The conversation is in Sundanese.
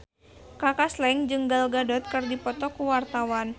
Kaka Slank jeung Gal Gadot keur dipoto ku wartawan